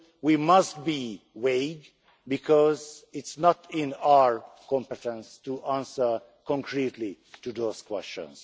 So we must be vague because it is not in our competence to answer concretely those questions.